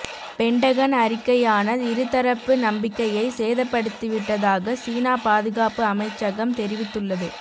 Pentagon அறிக்கையான இருத்தரப்பு நம்பிக்கையை சேதப்படுத்திவிட்டதாக சீனா பாதுகாப்பு அமைச்சகம் தெரிவித்துள்ளது